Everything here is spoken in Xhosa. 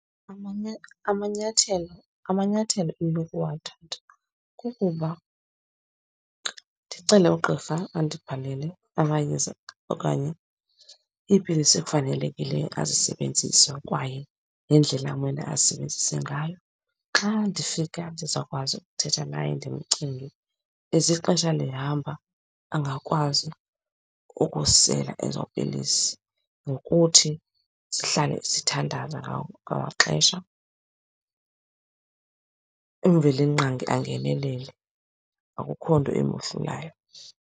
Amanyathelo, amanyathelo endinokuwathatha kukuba ndicele ugqirha andibhalele amayeza okanye iipilisi ekufanelekileyo azisebenzise kwaye nendlela amele azisebenzise ngayo. Xa ndifika ndizawukwazi ukuthetha naye ndimcenge as ixesha lihamba angakwazi ukusela ezo pilisi nokuthi sihlale sithandaza ngawo wonke amaxesha, uMvelinqangi angenelele, akukho nto imohlulayo.